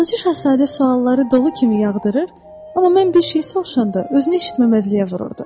Balaca şahzadə sualları dolu kimi yağdırır, amma mən bir şey soruşanda özünü eşitməzliyə vururdu.